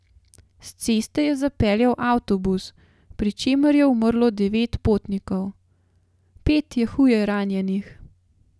S ceste je zapeljal avtobus, pri čemer je umrlo devet potnikov, pet je huje ranjenih.